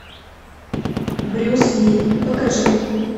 брюс ли покажи